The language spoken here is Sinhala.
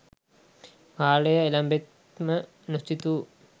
කාලය එළැඹෙත්ම නොසිතූ